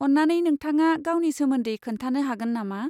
अन्नानै नोंथाङा गावनि सोमोन्दै खोन्थानो हागोन नामा?